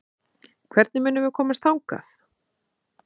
Hvernig munum við komast þangað?